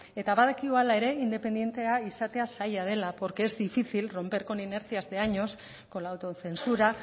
eta badakigu hala ere independentea izatea zaila dela porque es difícil romper con inercias de años con la autocensura